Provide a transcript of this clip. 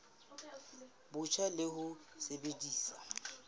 bo botjha le ho sebedisa